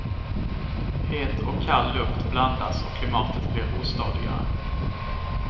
Het och kall luft blandas och klimatet blir ostadigare.